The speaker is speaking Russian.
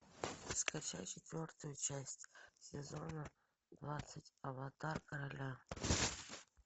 скачай четвертую часть сезона двадцать аватар короля